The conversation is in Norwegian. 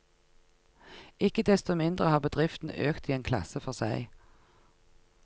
Ikke desto mindre har bedriften økt i en klasse for seg.